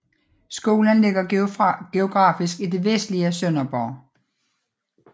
Skolen ligger geografisk i det vestlige Sønderborg